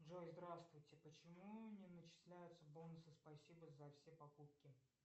джой здравствуйте почему не начисляются бонусы спасибо за все покупки